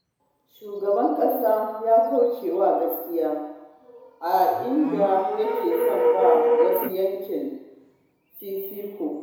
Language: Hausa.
Shugaban ƙasa ya kauce wa gaskiya a fili, inda yake son ba wa wani yankin fifiko.